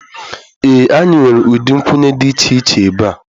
Ee anyị nwere ụdị nkwụnye dị iche iche ebe a